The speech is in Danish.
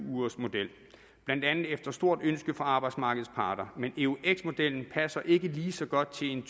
ugersmodel blandt andet efter stort ønske fra arbejdsmarkedets parter men eux modellen passer ikke lige så godt til en